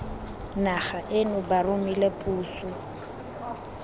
naga eno ba romile puso